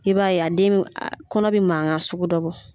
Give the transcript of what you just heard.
I b'a ye a den kɔnɔ bɛ mankan sugu dɔ bɔ.